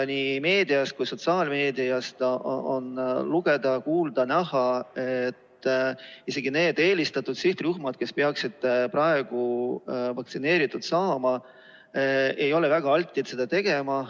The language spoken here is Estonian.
Nii meedias kui ka sotsiaalmeedias on lugeda, kuulda ja näha, et isegi need eelistatud sihtrühmad, kes peaksid praegu vaktsineeritud saama, ei ole väga altid seda tegema.